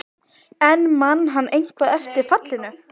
En man hann eitthvað eftir fallinu?